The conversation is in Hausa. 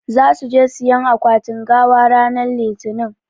Zasu je siƴan akwatin gawa ranan litinin.